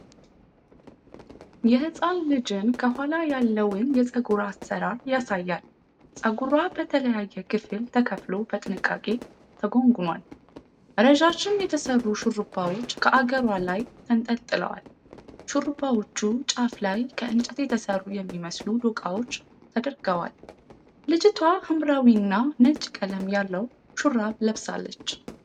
የሕጻን ልጅን ከኋላ ያለውን የፀጉር አሠራር ያሳያል። ፀጉሯ በተለያየ ክፍል ተከፍሎ በጥንቃቄ ተጎንጉኗል። ረዣዥም የተሠሩ ሹሩባዎች ከአገሯ ላይ ተንጠልጥለዋል። ሹሩባዎቹ ጫፍ ላይ ከእንጨት የተሠሩ የሚመስሉ ዶቃዎች ተደርገዋል። ልጅቷ ሐምራዊና ነጭ ቀለም ያለው ሹራብ ለብሳለች።